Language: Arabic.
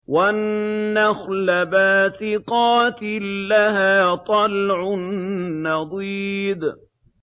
وَالنَّخْلَ بَاسِقَاتٍ لَّهَا طَلْعٌ نَّضِيدٌ